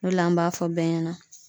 O de la an b'a fɔ bɛɛ ɲɛna